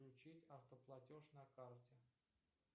включить автоплатеж на карте